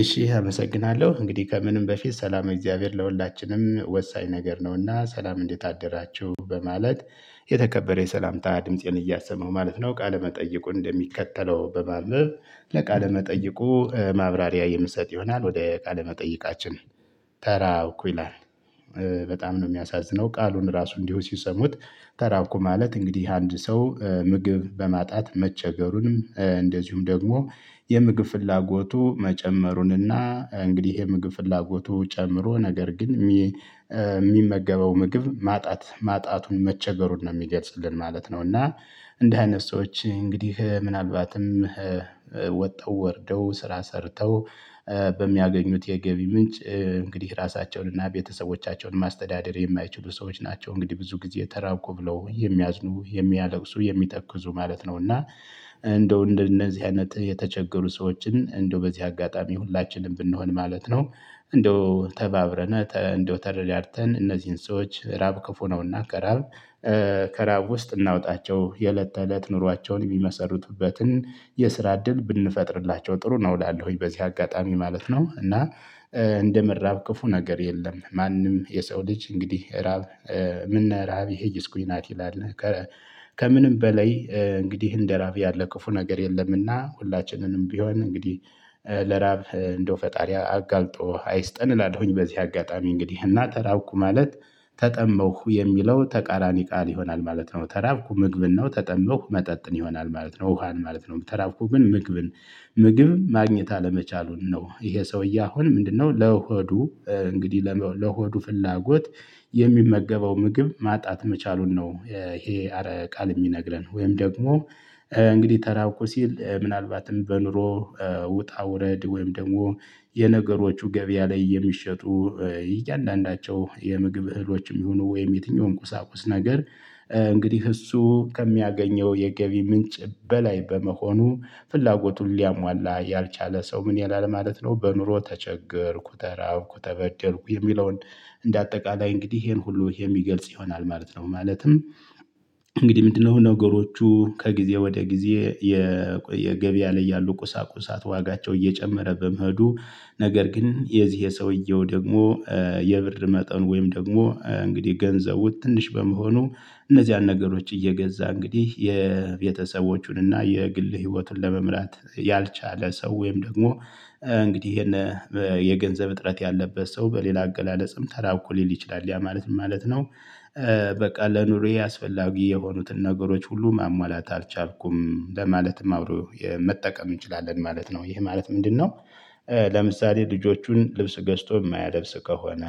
እሺ አመሰግናለሁ እንግዲህ ከምንም በፊት ሰላም እግዚአብሔር ለሁላችንም ወሳኝ ነገር ነውና ሰላም እንዴት አደራችሁ በማለት የተከበረ የሰላምታ ድምፄን እያሰማሁ ማለት ነው። ቃለ መጠየቁ እንደሚከተለው በማንበብ ለቃለ መጠይቁ ማብራሪያ የምሰጥ ይሆናል። ወደ ቃለ መጠይቃችን ተራ እኮ ይላል። በጣም ነው የሚያሳዝነው ቃሉን ራሱ እንዲሁ ሲሰሙት። ተራብኩ ማለት እንግዲህ አንድ ሰው ምግብ በማጣት መቸገሩንም እንደዚሁም ደግሞ የምግብ ፍላጎቱ መጨመሩንና እንግዲህ የምግብ ፍላጎቱ ጨምሮ ነገር ግን የሚመገበው ምግብ ማጣት ማጣቱን መቸገሩን ነው የሚገልጽልን ማለት ነው። እና እንደዚህ አይነት ሰዎች እንግዲህ ምናልባትም ወጥተው ወርደው ስራ ሰርተው በሚያገኙት የገቢ ምንጭ እንግዲህ ራሳቸውን እና ቤተሰቦቻቸውን ማስተዳደር የማይችሉ ሰዎች ናቸው። እንግዲህ ብዙ ጊዜ ተራብኩ ብለው የሚያዝኑ የሚያለቅሱ የሚተኩዙ ማለት ነው። እና እንደው እንደነዚህ አይነት የተቸገሩ ሰዎችን እንደው በዚህ አጋጣሚ ሁላችንም ብንሆን ማለት ነው። እንደው ተባብረነ እንደው ተረዳርተን እነዚህን ሰዎች ራብ ከፉ ነውና ከራብ ከራብ ውስጥ እናውጣቸው። የእለት ተእለት ኑሯቸውን የሚመሰሩትበትን የስራ እድል ብንፈጥርላቸው ጥሩ ነው እላለሁኝ። በዚህ አጋጣሚ ማለት ነው እና እንደ መራብ ክፉ ነገር የለም። ማንም የሰው ልጅ እንግዲህ እራብ ምነ እራብ ይሀይስ ኩናት ይላል። ከምንም በላይ እንግዲህ እንደ ራብ ያለ ክፉ ነገር የለምና ሁላችንንም ቢሆን እንግዲህ ለራብ እንደው ፈጣሪ አጋልጦ አይስጠን እላለሁኝ። በዚህ አጋጣሚ እንግዲህ እና ተራብኩ ማለት ተጠማሁ የሚለው ተቃራኒ ቃል ይሆናል ማለት ነው። ተራብኩ ምግብን ነው ተጠማሁ መጠጥን ይሆናል ማለት ነው። ውሃን ማለት ነው። ተራብኩ ግን ምግብን ምግብ ማግኘት አለመቻሉን ነው። ይሄ ሰውዬ አሁን ምንድነው? ለሆዱ እንግዲህ ለሆዱ ፍላጎት የሚመገበው ምግብ ማጣት መቻሉን ነው። ይሄ ቃል የሚነግረን ወይም ደግሞ እንግዲህ ተራብኩ ሲል ምናልባትም በኑሮ ውጣ ውረድ ወይም ደግሞ የነገሮቹ ገበያ ላይ የሚሸጡ እያንዳንዳቸው የምግብ እህሎችም ይሁኑ ወይም የትኛውም ቁሳቁስ ነገር። እንግዲህ እሱ ከሚያገኘው የገቢ ምንጭ በላይ በመሆኑ ፍላጎቱን ሊያሟላ ያልቻለ ሰው ምን ይላል ማለት ነው። በኑሮ ተቸገርኩ ተራብኩ ተበደልኩ የሚለውን እንደ አጠቃላይ እንግዲህ ይሄን ሁሉ የሚገልጽ ይሆናል ማለት ነው። ማለትም እንግዲህ ምንድነው? ነገሮቹ ከጊዜ ወደ ጊዜ የገበያ ላይ ያሉ ቁሳቁሳት ዋጋቸው እየጨመረ በመሄዱ ነገር ግን የዚህ የሰውየው ደግሞ የብር መጠን ወይም ደግሞ እንግዲህ ገንዘቡ ትንሽ በመሆኑ እነዚያን ነገሮች እየገዛ እንግዲህ የቤተሰቦቹንና የግል ህይወቱን ለመምራት ያልቻለ ሰው ወይም ደግሞ እንግዲህ ይሄን የገንዘብ እጥረት ያለበት ሰው በሌላ አገላለጽም ተራብኩ ሊል ይችላል ያ ማለት ምን ማለት ነው? በቃ ለኑሬ አስፈላጊ የሆኑትን ነገሮች ሁሉ ማሟላት አልቻልኩም ለማለትም አብሮ መጠቀም እንችላለን ማለት ነው። ይህ ማለት ምንድነው? ለምሳሌ ልጆቹን ልብስ ገዝቶ የማያለብስ ከሆነ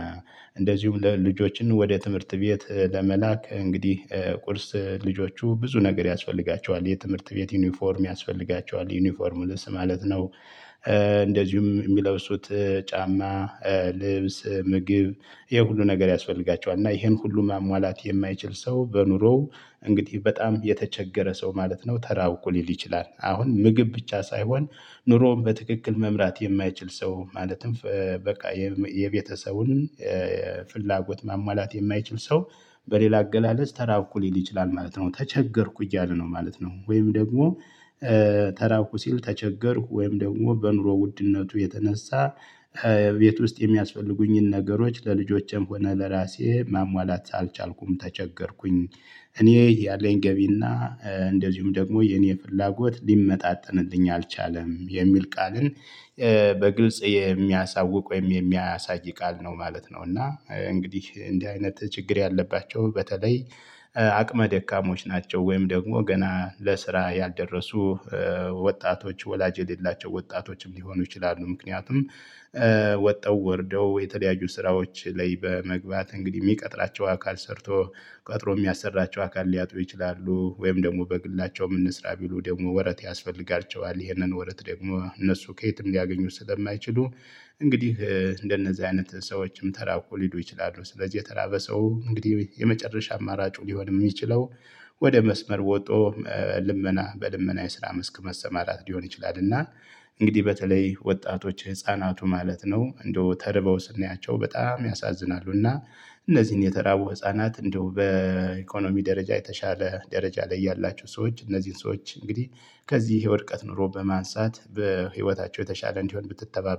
እንደዚሁም ልጆችን ወደ ትምህርት ቤት ለመላክ እንግዲህ ቁርስ ልጆቹ ብዙ ነገር ያስፈልጋቸዋል የትምህርት ቤት ዩኒፎርም ያስፈልጋቸዋል ዩኒፎርም ልብስ ማለት ነው። እንደዚሁም የሚለብሱት ጫማ ልብስ ምግብ ይሄ ሁሉ ነገር ያስፈልጋቸዋል እና ይሄን ሁሉ ማሟላት የማይችል ሰው በኑሮው እንግዲህ በጣም የተቸገረ ሰው ማለት ነው። ተራብኩ ሊል ይችላል አሁን ምግብ ብቻ ሳይሆን ኑሮን በትክክል መምራት የማይችል ሰው ማለትም በቃ የቤተሰቡን ፍላጎት ማማላት የማይችል ሰው በሌላ አገላለጽ ተራብኩ ሊል ይችላል ማለት ነው። ተቸገርኩ እያለ ነው ማለት ነው። ወይም ደግሞ ተራብኩ ሲል ተቸገርኩ ወይም ደግሞ በኑሮ ውድነቱ የተነሳ ቤት ውስጥ የሚያስፈልጉኝን ነገሮች ለልጆቼም ሆነ ለራሴ ማሟላት አልቻልኩም ተቸገርኩኝ። እኔ ያለኝ ገቢና እንደዚሁም ደግሞ የኔ ፍላጎት ሊመጣጠንልኝ አልቻለም የሚል ቃልን በግልጽ የሚያሳውቅ ወይም የሚያሳይ ቃል ነው ማለት ነው። እና እንግዲህ እንዲህ አይነት ችግር ያለባቸው በተለይ አቅመ ደካሞች ናቸው። ወይም ደግሞ ገና ለስራ ያልደረሱ ወጣቶች ወላጅ የሌላቸው ወጣቶችም ሊሆኑ ይችላሉ። ምክንያቱም ወጥተው ወርደው የተለያዩ ስራዎች ላይ በመግባት እንግዲህ የሚቀጥራቸው አካል ሰርቶ ቀጥሮ የሚያሰራቸው አካል ሊያጡ ይችላሉ ወይም ደግሞ በግላቸውም እንስራ ቢሉ ደግሞ ወረት ያስፈልጋቸዋል ይሄንን ወረት ደግሞ እነሱ ከየትም ሊያገኙት ስለማይችሉ። እንግዲህ እንደነዚህ አይነት ሰዎችም ተራብኩ ሊሉ ይችላሉ። ስለዚህ የተራበ ሰው እንግዲህ የመጨረሻ አማራጩ ሊሆንም የሚችለው ወደ መስመር ወጦ ልመና በልመና የስራ መስክ መሰማራት ሊሆን ይችላል። እና እንግዲህ በተለይ ወጣቶች ህፃናቱ ማለት ነው እንደው ተርበው ስናያቸው በጣም ያሳዝናሉ። እና እነዚህን የተራቡ ህፃናት እንደው በኢኮኖሚ ደረጃ የተሻለ ደረጃ ላይ ያላችሁ ሰዎች እነዚህን ሰዎች እንግዲህ ከዚህ የወድቀት ኑሮ በማንሳት በህይወታቸው የተሻለ እንዲሆን ብትተባበሩ